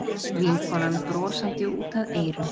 Vinkonan brosandi út að eyrum.